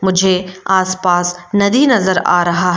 मुझे आसपास नदी नजर आ रहा है।